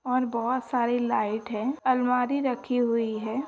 और बहोत सारी लाइट है। अलमारी राखी हुई है।